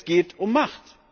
Es geht um Macht.